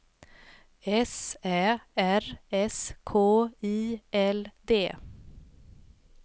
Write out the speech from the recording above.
S Ä R S K I L D